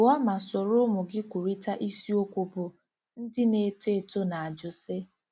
gụọ ma soro ụmụ gị kwurịta isiokwu bụ́ " Ndị Na-eto Eto Na-ajụ Sị...